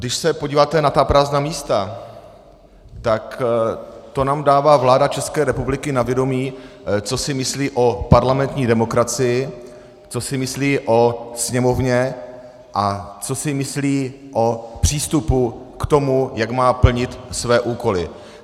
Když se podíváte na ta prázdná místa, tak to nám dává vláda České republiky na vědomí, co si myslí o parlamentní demokracii, co si myslí o Sněmovně a co si myslí o přístupu k tomu, jak má plnit své úkoly.